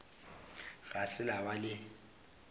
ga se la ba le